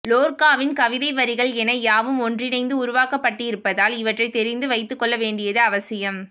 லோர்க்காவின் கவிதை வரிகள் என யாவும் ஒன்றிணைந்து உருவாக்கபட்டிருப்பதால் இவற்றை தெரிந்து வைத்துக் கொள்ள வேண்டியது அவசியம்